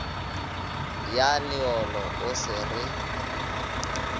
ya leolo o se re